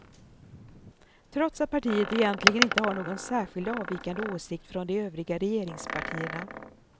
Trots att partiet egentligen inte har någon särskilt avvikande åsikt från de övriga regeringspartierna.